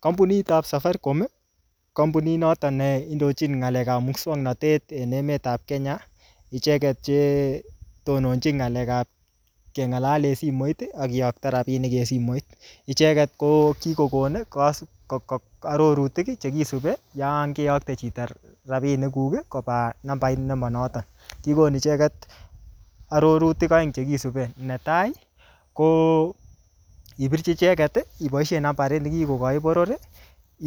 Kampunit ab Safaricom, kampunit noton ne indochin ngalekab muswoknatet en emetab Kenya. Icheget che tononjin ngalek ab kengalal en simoit ak kiyokto ngalek en simoit. Icheget ko kikokon arorutik che kisubi yon keyokte chito rapinik kuk koba nambait nemanoto. Kigon icheget arorutik aeng che kisupi. Netai ko ipirchi icheget iboisien nambarit ne kikokoi boror,